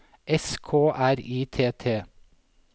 S K R I T T